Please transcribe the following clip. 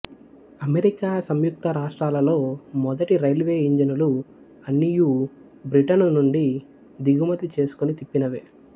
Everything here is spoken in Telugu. అమెరికా సంయుక్త రాష్ట్రాలలో మొదటి రైల్వేఇంజనులు అన్నియు బ్రిటను నుండి దిగుమతి చేసుకుని తిప్పనవే